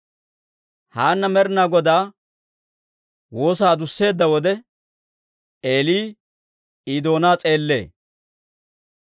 Haanna Med'inaa Godaa woosaa adusseedda wode, Eeli I doonaa s'eellee.